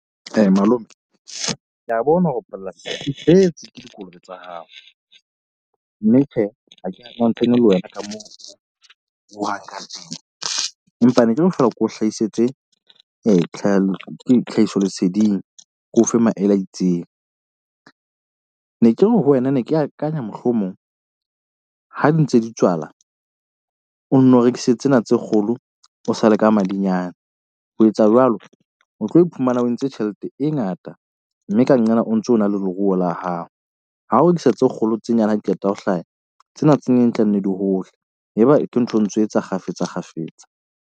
Malome ke a bona hore polasi empa ne ke re ke o hlaisetse tlhahisoleseding ko fe maele a itseng. Ne ke re ho wena ne ke akanya mohlomong ha di ntse di tswala, o nno rekise tsena tse kgolo o sa le ka madinyane. Ho etsa jwalo o tlo iphumana o entse tjhelete e ngata. Mme ka nqena o ntso na le leruo la hao. Ha o ntsha tse kgolo tse nyane ha di qeta ho hlaha. Tsena tse nyane di tlanne di hole. Eba ke ntho ntso etsa kgafetsa kgafetsa.